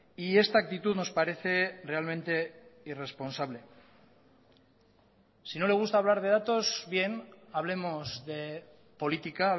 y esta actitud nos parece realmente irresponsable si no le gusta hablar de datos bien hablemos de política